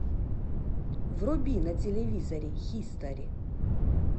вруби на телевизоре хистори